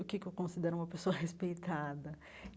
O que é que eu considero uma pessoa respeitada?